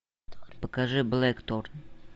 покажи блэкторн